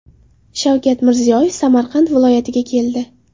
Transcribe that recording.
Shavkat Mirziyoyev Samarqand viloyatiga keldi.